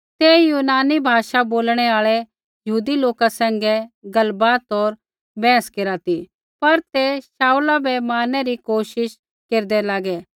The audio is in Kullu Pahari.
तै यूनानी भाषा बोलणु आल़ै यहूदी लोका सैंघै गलबात होर बैहस केरा ती पर ते शाऊला बै मारनै री कोशिश केरदै लागै